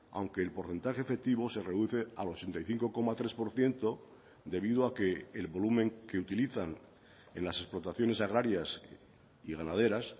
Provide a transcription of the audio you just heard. aunque el porcentaje efectivo se reduce al ochenta y cinco coma tres por ciento debido a que el volumen que utilizan en las explotaciones agrarias y ganaderas